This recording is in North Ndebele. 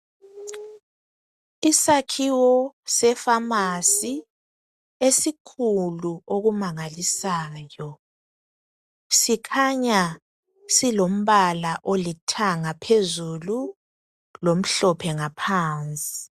Isakhiwo sefamasi esikhulu okumangalisayo sikhanya silombala olithanga phezulu lomhlophe ngaphansi.